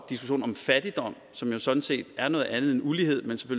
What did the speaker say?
diskussionen om fattigdom som sådan set er noget andet end ulighed